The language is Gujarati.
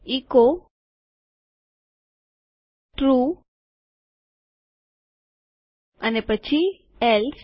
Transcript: એચો ટ્રૂ અને પછી એલ્સે